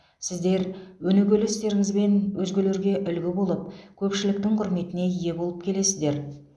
сіздер өнегелі істеріңізбен өзгелерге үлгі болып көпшіліктің құрметіне ие болып келесіздер